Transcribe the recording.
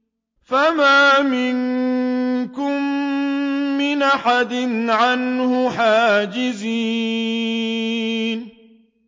فَمَا مِنكُم مِّنْ أَحَدٍ عَنْهُ حَاجِزِينَ